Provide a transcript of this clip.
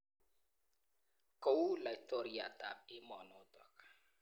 Kou laitoriatab emonotok.